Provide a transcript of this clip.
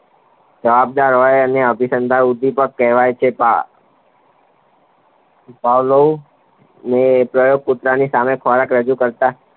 જવાબ દર હોય એને અભિસનદાન ઉદ્દીપક કહેવાય છે. પાવલોવ ને પ્રયોગ કૂતરાની સામે ખોરાક રજુ કરતા